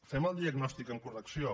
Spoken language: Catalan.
fem el diagnòstic amb correcció